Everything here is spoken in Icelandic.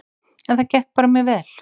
En það gekk bara mjög vel.